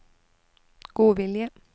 godvilje